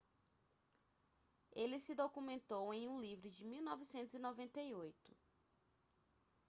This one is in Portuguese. ele se documentou em um livro de 1998